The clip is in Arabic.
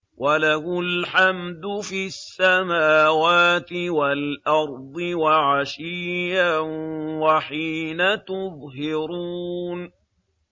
وَلَهُ الْحَمْدُ فِي السَّمَاوَاتِ وَالْأَرْضِ وَعَشِيًّا وَحِينَ تُظْهِرُونَ